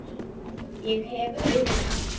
Ég hef augun aftur.